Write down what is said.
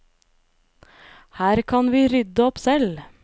Her kan vi rydde opp selv.